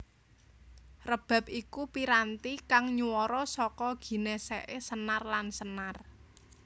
Rebab iku piranti kang nyuwara saka ginèsèké senar lan senar